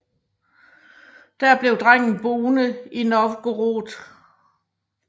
Der blev drengen boende i Novgorod